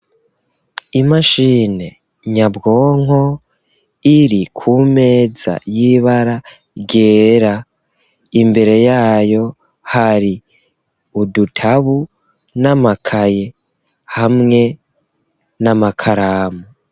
Imashine nyabwonko iri ku meza yibaragera imbere yayo hari udutabu n'amakaye hamwe n'amakaramu.